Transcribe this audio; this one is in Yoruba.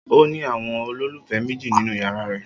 O ni awọn ololufẹ meji ninu yara rẹ